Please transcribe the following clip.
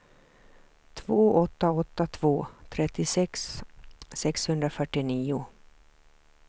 två åtta åtta två trettiosex sexhundrafyrtionio